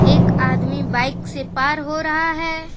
एक आदमी बाइक से पार हो रहा है।